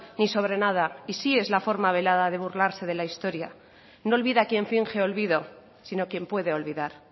ni sobre nada y sí es la forma velada de burlarse de la historia no olvida quien finge olvido sino quien puede olvidar